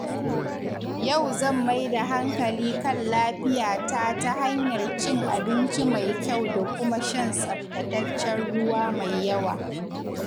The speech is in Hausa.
Yau zan mai da hankali kan lafiyata ta hanyar cin abinci mai kyau da kuma shan tsaftataccen ruwa mai yawa.